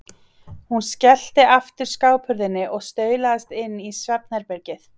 Hún skellti aftur skáphurðinni og staulaðist inn í svefn- herbergið.